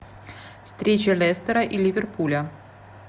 встреча лестера и ливерпуля